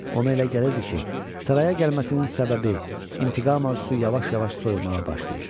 Ona elə gəlirdi ki, saraya gəlməsinin səbəbi intiqam arzusu yavaş-yavaş soyumağa başlayır.